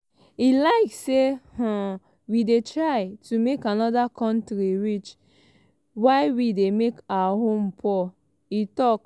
"e like say um we dey try to make anoda kontri rich while we dey make our own poor" e tok. um